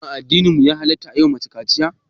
Shin a addininmu ya halatta a yiwa mace kaciya?